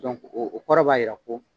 o kɔrɔ b'a yira ko.